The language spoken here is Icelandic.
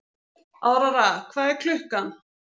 Aurora, hvað er klukkan?